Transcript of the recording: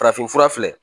Farafinfura filɛ